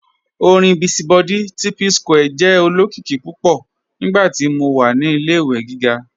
Ọ̀rin Busy Body ti Psquare jẹ́ olokiki púpọ̀ nígbàtí mó wà ní ilẹ̀-ìwé gígá.